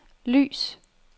lys